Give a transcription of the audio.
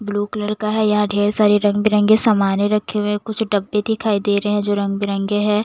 Blue colour का है यहां ढेर सारी रंग बिरंगे सामाने रखे हुए कुछ डब्बे दिखाई दे रहे हैं जो रंग बिरंगे है।